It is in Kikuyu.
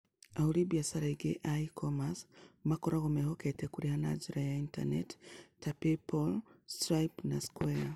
Ahũri biacara aingĩ a e-commerce makoragwo mehokete kũrĩha na njĩra ya Intaneti ta PayPal, Stripe, na Square.